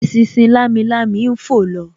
Eṣinṣin lamilami ń fò lọ